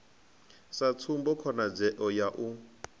sa tsumbo khonadzeo ya u